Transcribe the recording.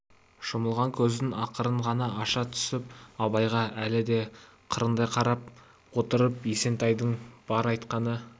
жұмылған көзін ақырын ғана аша түсіп абайға әлі де қырындай қарап отырып есентайдың бар айтқаны